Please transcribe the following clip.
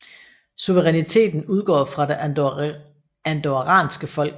Suveræniteten udgår fra det andorranske folk